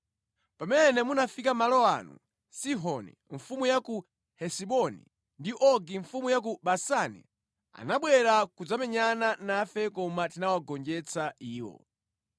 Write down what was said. Pamene munafika malo ano, Sihoni mfumu ya ku Hesiboni ndi Ogi mfumu ya ku Basani anabwera kudzamenyana nafe koma tinawagonjetsa iwo.